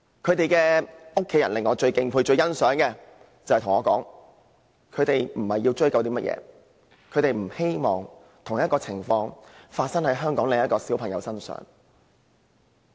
他們最令我敬佩和欣賞的地方，是他們表示並非要追究賠償，而是希望同類事件不會發生在別的小朋友身上。